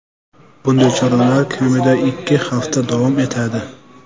Bunday choralar kamida ikki hafta davom etadi.